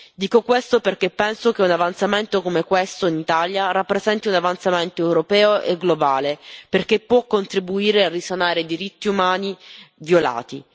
Dico questo perché penso che un avanzamento come questo in Italia rappresenti un avanzamento europeo e globale, perché può contribuire a risanare i diritti umani violati.